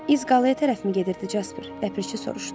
İz qalaya tərəfmi gedirdi, Casper, ləpirçi soruşdu.